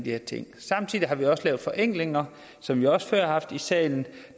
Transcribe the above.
her ting samtidig har vi også lavet forenklinger som vi også før har haft oppe i salen